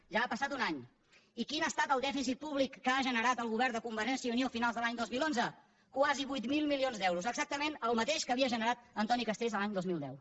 ja ha passat un any i quin ha estat el dèficit públic que ha generat el govern de convergència i unió a finals de l’any dos mil onze quasi vuit mil milions d’euros exactament el mateix que havia generat antoni castells l’any dos mil deu